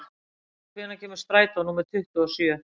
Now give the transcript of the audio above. Vogur, hvenær kemur strætó númer tuttugu og sjö?